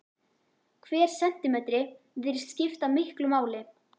Hver sentímetri virðist skipta miklu máli.